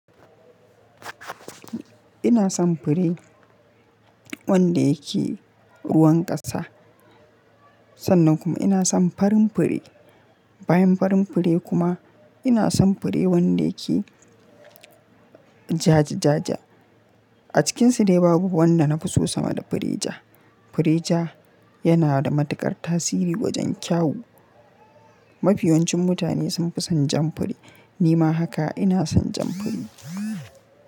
Ina son fure wanda yake ruwan ƙasa sannan kuma ina son farin fure. Bayan farin fure kuma ina son fure wanda yake jaje-jaje. A cikinsu dai babu wanda na fi so sama da fure ja. Fure ja yana da matuƙar tasiri wajen kyawu. Mafi yawancin mutane sun fi san jan fure. Ni ma haka ina san jan fure.